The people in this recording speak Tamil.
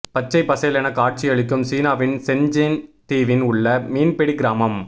பச்சை பசேலென காட்சியளிக்கும் சீனாவின் சென்ஜென் தீவின் உள்ள மீன்பிடி கிராமம்